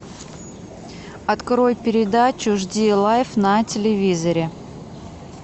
открой передачу жди лайф на телевизоре